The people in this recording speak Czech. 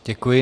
Děkuji.